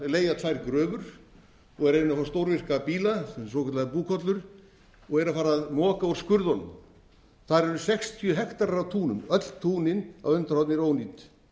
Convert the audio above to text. leigja tvær gröfur og er að reyna að fá stórvirka bíla svokallaðar búkollur og er að fara að moka úr skurðunum þar eru sextíu hektarar af túnum öll túnin á önundarhorni eru ónýt